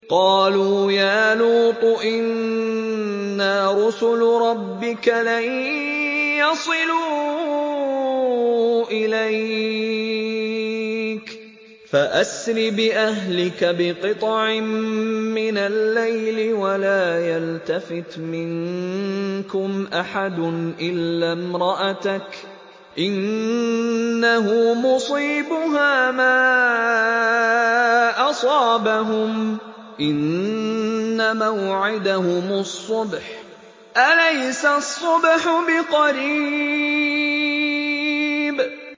قَالُوا يَا لُوطُ إِنَّا رُسُلُ رَبِّكَ لَن يَصِلُوا إِلَيْكَ ۖ فَأَسْرِ بِأَهْلِكَ بِقِطْعٍ مِّنَ اللَّيْلِ وَلَا يَلْتَفِتْ مِنكُمْ أَحَدٌ إِلَّا امْرَأَتَكَ ۖ إِنَّهُ مُصِيبُهَا مَا أَصَابَهُمْ ۚ إِنَّ مَوْعِدَهُمُ الصُّبْحُ ۚ أَلَيْسَ الصُّبْحُ بِقَرِيبٍ